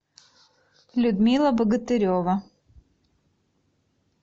людмила богатырева